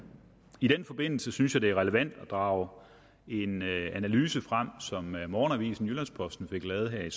i den forbindelse synes jeg det er relevant at drage en analyse frem som morgenavisen jyllands posten fik lavet her i